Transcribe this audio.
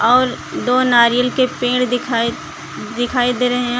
और दो नारियल के पेड़ दिखाई दिखाई दे रहे हैं।